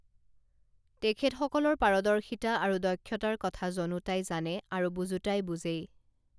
তেখেতসকলৰ পাৰদৰ্শিতা আৰু দক্ষতাৰ কথা জনোতাই জানে আৰু বুজোতাই বুজেই